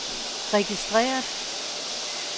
registreret